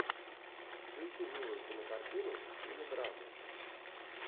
включи милую кинокартину в стиле драма